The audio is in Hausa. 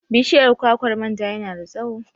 Bishiyar kwakwar manja yana da tsawo.